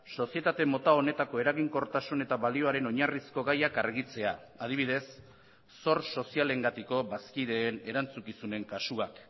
sozietate mota honetako eraginkortasun eta balioaren oinarrizko gaiak argitzea adibidez zor sozialengatiko bazkideen erantzukizunen kasuak